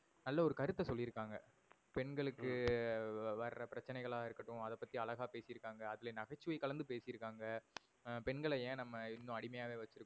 நல்ல ஒரு கருத்த சொல்லி இருகாங்க. பெண்களுக்கு எர் வர பிரச்சனைகளா இருக்கட்டும் அத பத்தி அழகா பேசி இருக்காங்க. அதுலே நகைச்சுவை கலந்து பேசி இருக்காங்க. எர் பெண்களை ஏன் நம்ப இன்னும் அடிமையாவே வச்சி இருக்கோம்